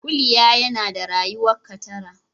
Kuliya yana da rayuka tara.